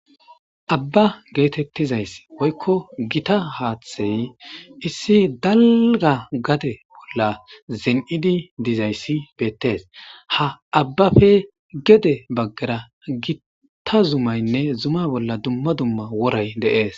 abba geetettizays woykko gita haaththey issi dalga gade bolla zen7idi dizayssi beettees ha abbafe gede baggara gitta zumaynne zuma bolla dumma dumma woray deees